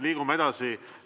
Liigume edasi.